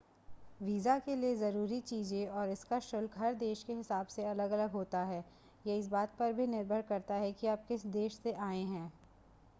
visa के लिए ज़रूरी चीज़ें और इसका शुल्क हर देश के हिसाब से अलग-अलग होता है यह इस बात पर भी निर्भर करता है कि आप किस देश से आए हैं